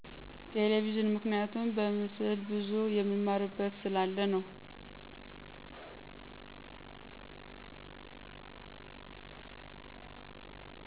ቴሌብዥን ምክንያቱም በምስል ብዙ የምማርበት ስላለ ነው።